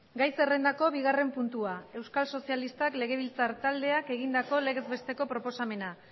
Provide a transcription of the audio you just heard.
gai zerrendako bigarren puntua euskal sozialistak legebiltzar taldeak egindako legez besteko proposamena